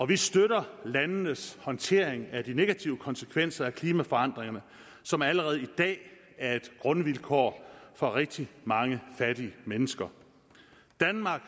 vi støtter landenes håndtering af de negative konsekvenser af klimaforandringerne som allerede i dag er et grundvilkår for rigtig mange fattige mennesker danmark